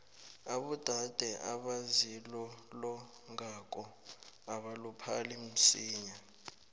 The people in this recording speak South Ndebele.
abodade abazilolongako abaluphali msinya